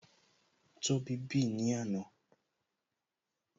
Tóbi bì ní àná